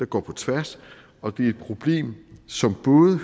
går på tværs og det er et problem som både